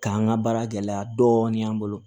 K'an ka baara gɛlɛya dɔɔnin an bolo